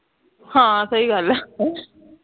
ਹਾਂ ਸਹੀ ਗੱਲ ਹੈ